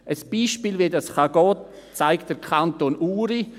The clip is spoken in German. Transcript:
Ein Beispiel, wie das gehen kann, zeigt der Kanton Uri.